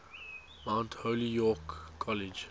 mount holyoke college